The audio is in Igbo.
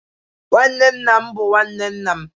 Nwanne nna m bu nwanne nna m